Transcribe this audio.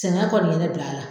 Sɛngɛ kɔni ye ne bil'a la.